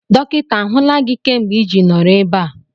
Dọkịta ahụla gị kemgbe iji nọrọ ebe a?